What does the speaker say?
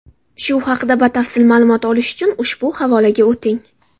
Shu haqda batafsil ma’lumot olish uchun ushbu havolaga o‘ting.